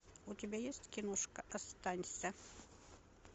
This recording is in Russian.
у тебя есть киношка останься